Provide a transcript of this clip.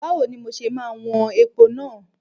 Báwo ni mo ṣe máa wọn epo náà?